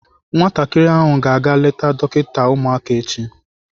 Nwatakịrị ahụ ga-aga eleta dọkịta ụmụaka echi.